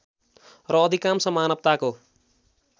र अधिकांश मानवताको